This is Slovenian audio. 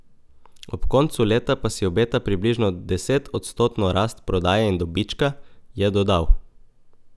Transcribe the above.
Ob koncu leta pa si obeta približno desetodstotno rast prodaje in dobička, je dodal.